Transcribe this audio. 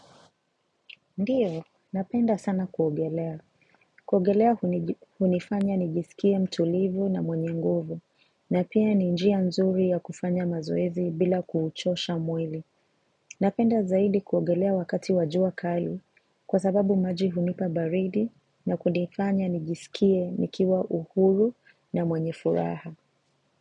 Ndiyo, napenda sana kuogelea. Kuogelea hunifanya nijisikie mtulivu na mwenye nguvu, na pia ni njia nzuri ya kufanya mazoezi bila kuuchosha mwili. Napenda zaidi kuogelea wakati wa jua kali, kwa sababu maji hunipa baridi, na kunifanya nijisikie nikiwa uhuru na mwenye furaha.